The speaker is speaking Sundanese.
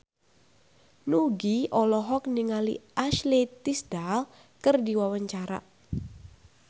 Nugie olohok ningali Ashley Tisdale keur diwawancara